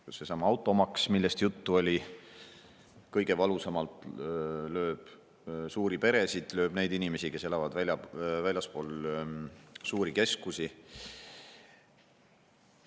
Just seesama automaks, millest juttu oli, lööb kõige valusamalt suuri peresid ja neid inimesi, kes elavad väljaspool suuri keskusi.